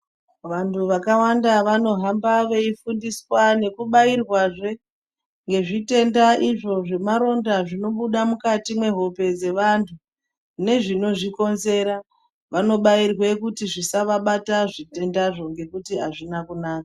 Vanthu vakawanda vanohamba veifundiswa nekubairwazve ngezvitenda izvo zvemaronda zvinobuda mukati mwehope dzevanthu nezvinozvikonzera vanobairwe kuti zvisavabata zvitendazvo ngokuti hazvina kunaka.